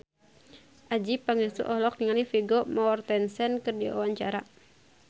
Adjie Pangestu olohok ningali Vigo Mortensen keur diwawancara